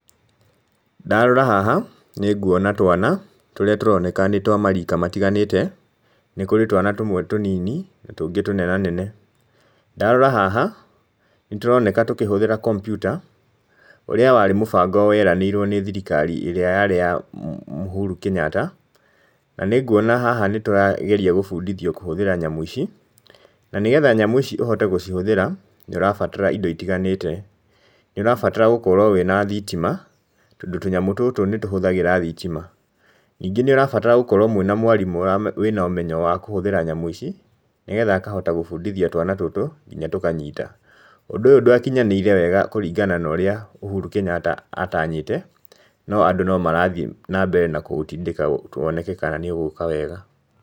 Ndarora haha nĩnguona twana, tũrĩa tũroneka nĩ twa marika matiganĩte, nĩ kũrĩ twana tũmwe tũnini, na tũngĩ tũnenanene. Ndarora haha, nĩ tũroneka tũkĩhũthĩra kompiuta, ũrĩa warĩ mũbango ũrĩa weranĩirwo nĩ thirikari ĩrĩa yarĩ ya mmh Uhuru Kenyatta, na nĩnguona haha nĩ tũragerio gũbundithio kũhũthĩra nyamũ ici, na nĩgetha nyamũ ici ũhote gũcihũthĩra, nĩ ũrabatara indo itiganĩte, nĩ ũrabatara gũkorwo wĩna thitima, tondũ tũnyamũ tũtũ nĩ tũhũthagĩra thitima, nĩngĩ nĩ ũrabatara gũkorwo mwĩna mwarimũ wĩna ũmenyo wa kũhũthĩra nyamũ ici, nĩgetha akahota gũbũndithia twana tũtũ nginya tũkanyita. Ũndũ ũyũ ndwakinyanĩire wega kũringana na ũrĩa Uhuru Kenyatta atanyĩte, no andũ no marathiĩ na mbere na kũũtindĩka woneke kana nĩ ũgũka wega.